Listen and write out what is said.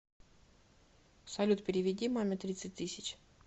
салют переведи маме тридцать тысяч